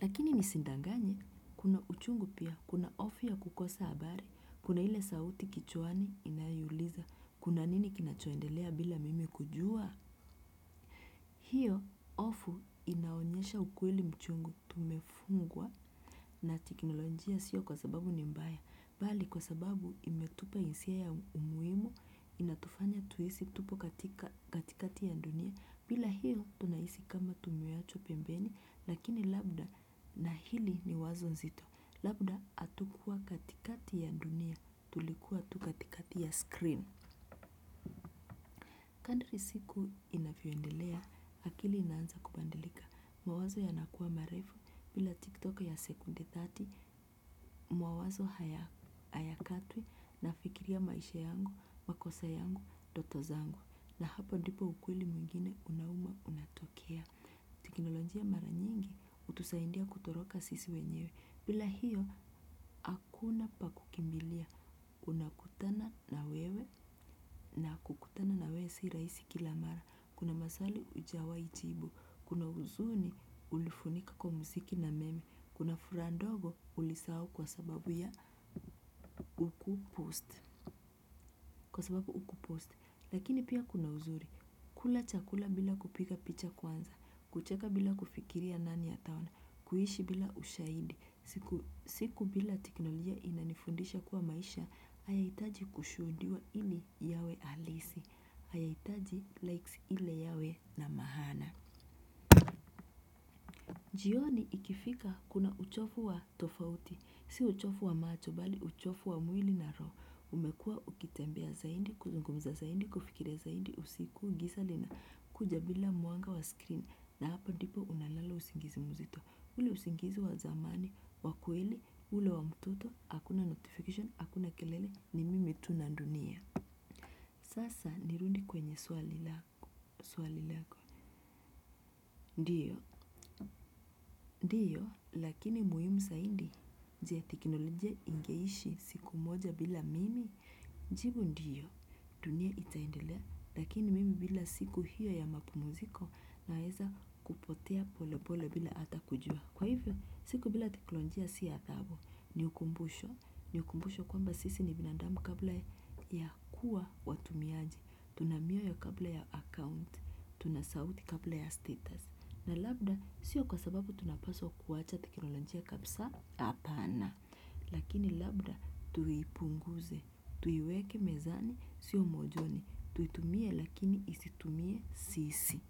Lakini nisindanganye, kuna uchungu pia, kuna ofu ya kukosa habari, kuna ile sauti kichwani inayouliza, kuna nini kinachoendelea bila mimi kujua? Hiyo, ofu inaonyesha ukweli mchungu tumefungwa na tekinolojia siyo kwa sababu ni mbaya. Bali, kwa sababu, imetupa hisia ya umuhimu, inatufanya tuhisi tupo katika katikati ya dunia. Bila hiyo, tunahisi kama tumeachwa pembeni, lakini labda na hili, ni wazo nzito. Labda atukua katikati ya dunia tulikuwa tu katikati ya screen. Kandiri siku inafyoendelea, akili inanza kubadilika. Mawazo yanakua marefu, bila TikTok ya sekunde thelathini, mawazo haya hayakatwi, nafikiria maisha yangu, makosa yangu, ndoto zangu. Na hapa ndipo ukweli mwingine unauma unatokea. Tekinolonjia mara nyingi, utusaindia kutoroka sisi wenyewe. Bila hiyo akuna pakukimbilia. Unakutana na wewe, na kukutana na wewe si rahisi, kila mara maswali ujawai jibu, kuna huzuni, ulifunika kwa mziki na meme. Kuna furaha ndogo ulisahau kwa sababu ya ukupost. Lakini pia kuna uzuri. Kula chakula bila kupika picha kwanza. Kucheka bila kufikiria nani ataona. Kuishi bila ushaidi. Siku siku, bila teknolojia inanifundisha kuwa maisha, haihitaji kushuudiwa ili yawe, halisi. Hayaitaji, likes ile yawe na mahana. Jioni, ikifika kuna uchofu wa tofauti. Si uchofu wa macho bali uchofu wa mwili na ro. Umekua ukitembea zaindi, kuzungumza zaindi, kufikiria zaindi, usiku ngisa lina kuja bila muanga wa screen na hapa ndipo unalala usingizi mzito. Nule usingizi wazamani, wakweli, ule wa mtoto, hakuna notification, hakuna kelele, ni mimi tu na ndunia. Sasa, nirundi kwenye swali lako, swali lako. Ndiyo, diyo, lakini muhium saindi, je teknolojia ingeishi, siku moja bila mimi? Jibu, ndiyo. Dunia itaendelea, lakini mimi bila siku hiyo ya mapumziko naeza kupotea pole pole bila ata kujua. Kwa hivyo, siku bila teknolojia si adhabu, ni ukumbusho. Ni ukumbusho kwamba sisi ni binadamu kabla ya kuwa watumiaji. Tuna mioyo kabla ya account. Tunasauti kabla ya status. Na labda sio kwa sababu tunapaswa kuwacha teknolonjia kapsa apana. Lakini labda, tuipunguze. Tuiweke mezani siomojoni, tuitumie lakini isitumie sisi.